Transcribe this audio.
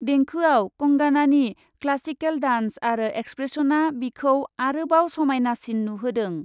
देंखोआव कंगानानि classical dance आरो एक्सप्रेसनआ बिखौ आरोबाव समायनासिन नुहोदों।